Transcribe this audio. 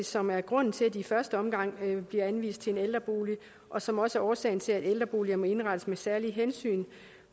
som er grunden til at de i første omgang bliver anvist til en ældrebolig og som også er årsagen til at ældreboliger må indrettes med særlige hensyn